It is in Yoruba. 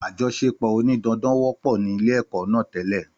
Àjọṣe pò òní dandan wọ́pọ̀ ní ilé èkọ́ náà tẹ́lẹ̀